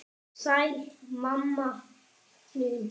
Sæl, mamma mín.